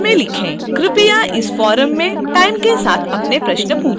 कृपया इस फोरम में टाइम के साथ अपने प्रश्न पूछें